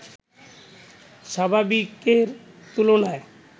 স্বাভাবিকের তুলনায়